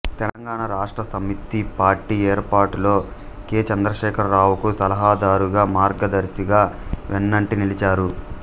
Telangana Rashtra Samithi party ఏర్పాటులో K చంద్రశేఖరరావుకు సలహాదారుగా మార్గదర్శిగా వెన్నంటి నిలిచారు